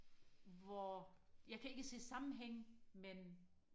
hvor jeg kan ikke se sammenhænge men